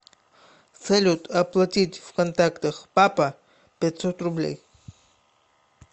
салют оплатить в контактах папа пятьсот рублей